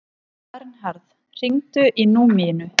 Vernharð, hringdu í Númínu.